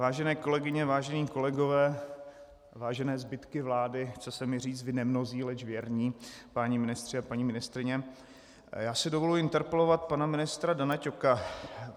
Vážené kolegyně, vážení kolegové, vážené zbytky vlády, chce se mi říct vy nemnozí, leč věrní páni ministři a paní ministryně, já si dovoluji interpelovat pana ministra Dana Ťoka.